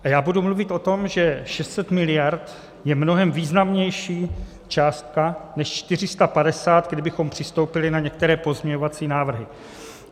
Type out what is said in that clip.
A já budu mluvit o tom, že 600 mld. je mnohem významnější částka než 450, kdybychom přistoupili na některé pozměňovací návrhy.